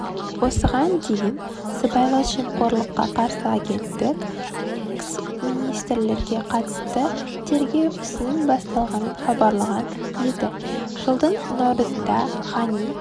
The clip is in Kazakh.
осыған дейін сыбайлас жемқорлыққа қарсы агенттік экс-министрлерге қатысты тергеу ісінің басталғанын хабарлаған еді жылдың наурызында ғани